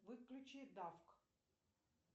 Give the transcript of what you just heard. выключи дафк